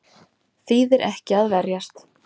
Nauðsynlegt að búa við ákveðið óöryggi